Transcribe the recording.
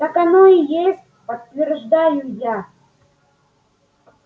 так оно и есть подтверждаю я